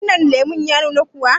wannan lemon ya nuna kuwa?